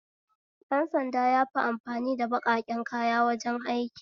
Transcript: Ɗan sanda yafi amfani ba baƙaƙen kaya wajen aiki